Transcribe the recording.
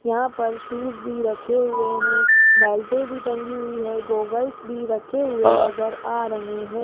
यहां पर शूज भी रखे हुए हैं बैलटे भी टंगी हुई है गॉगल्स भी रखे हुए नजर आ रहे हैं।